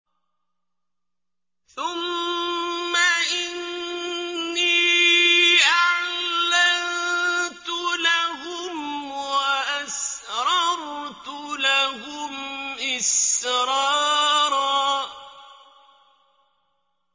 ثُمَّ إِنِّي أَعْلَنتُ لَهُمْ وَأَسْرَرْتُ لَهُمْ إِسْرَارًا